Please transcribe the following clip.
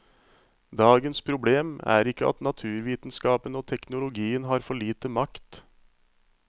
Dagens problem er ikke at naturvitenskapen og teknologien har for lite makt.